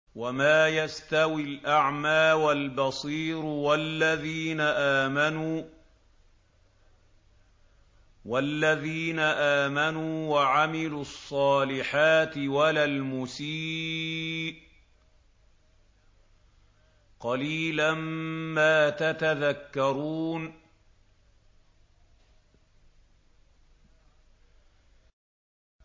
وَمَا يَسْتَوِي الْأَعْمَىٰ وَالْبَصِيرُ وَالَّذِينَ آمَنُوا وَعَمِلُوا الصَّالِحَاتِ وَلَا الْمُسِيءُ ۚ قَلِيلًا مَّا تَتَذَكَّرُونَ